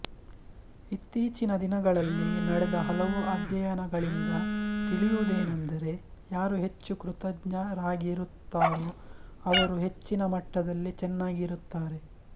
ಇತ್ತೀಚಿನ ದಿನಗಳಲ್ಲಿ ನಡೆದ ಹಲವು ಅಧ್ಯಯನಗಳಿಂದ ತಿಳಿಯುವುದೇನೆಂದರೆ ಯಾರು ಹೆಚ್ಚು ಕೃತಜ್ಞರಾಗಿರುತ್ತಾರೋಅವರು ಹೆಚ್ಚಿನ ಮಟ್ಟದಲ್ಲಿ ಚೆನ್ನಾಗಿರುತ್ತಾರೆ